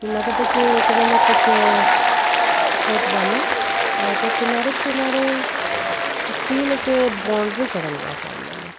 की लागता की एकरा में कुछ अ होत बानी। लागे किनारे-किनारे स्टील के बाउंड्री करल बा सामने में।